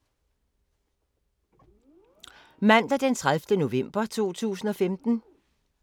Mandag d. 30. november 2015